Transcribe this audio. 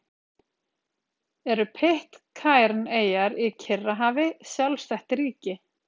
Eru Pitcairn-eyjar í Kyrrahafi sjálfstætt ríki?